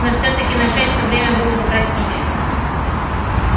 но всё-таки начать в то время было бы красивее